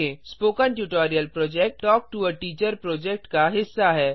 spoken tutorial project talk to a teacher project का हिस्सा है